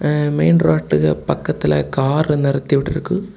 அ main ரோட்டுக்கு பக்கத்துல கார நிறுத்தி விட்ருக்காங்க.